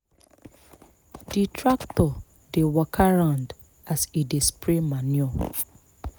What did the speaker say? di tractor dey waka round as e dey spray manure.